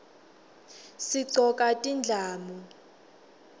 sigcoka tindlamu